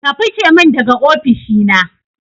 Ka fice min daga ofishi na